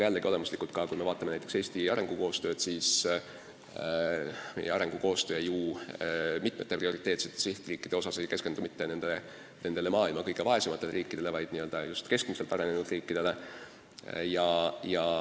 Aga kui me vaatame näiteks Eesti arengukoostööd, siis selle mitme prioriteetse sihtriigi kõrval ei keskendu me mitte maailma kõige vaesematele riikidele, vaid keskmiselt arenenud riikidele.